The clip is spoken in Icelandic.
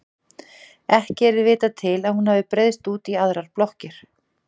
Ekki er vitað til að hún hafi breiðst út í aðrar blokkir.